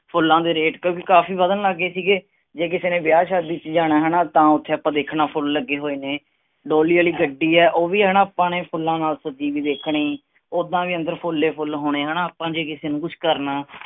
ਫੁੱਲਾਂ ਦੇ rate ਕਿਉਕਿ ਕਾਫੀ ਵਧਣ ਲਗ ਗਏ ਸੀਗੇ। ਜੇ ਕਿਸੇ ਨੇ ਵਿਆਹ ਸ਼ਾਦੀ ਚ ਜਾਣਾ ਹੈਨਾ ਤਾਂ ਓਥੇ ਆਪਾਂ ਦੇਖਣਾ ਫੁੱਲ ਲੱਗੇ ਹੋਏ ਨੇ। ਡੋਲੀ ਆਲੀ ਗੱਡੀ ਆ ਉਹ ਵੀ ਹੈਨਾ ਆਪਾਂ ਨੇ ਫੁੱਲਾਂ ਨਾਲ ਸਜੀ ਹੋਇ ਦੇਖਣੀ। ਉਦਾਂ ਵੀ ਅੰਦਰ ਫੁੱਲ ਹੀ ਫੁੱਲ ਹੋਣੇ ਹੈਨਾ ਆਪਾਂ ਜੇ ਕਿਸੇ ਨੂੰ ਕੁਛ ਕਰਨਾ।